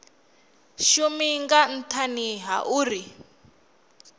shumi nga nthani ha uri